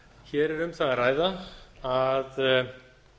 hér er um það að ræða að